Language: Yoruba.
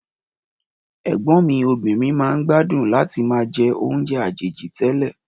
Ẹ̀gbọ́n mi obìnrin máa ń gbádùn láti máa jẹ́ oúnjé àjèjì télè.